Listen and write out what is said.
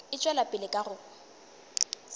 e tšwela pele ka go